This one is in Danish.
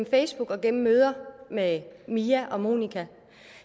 facebook og gennem møder med mia og monika